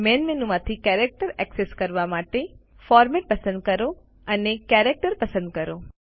main મેનુમાંથી character access કરવા માટેFormat પસંદ કરો અને કેરેક્ટર પસંદ કરો